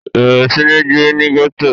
bẹ̀rẹ̀ sí ní gbé ní gẹ̀tò